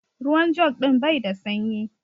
Ruwan jug din bai da sanyi.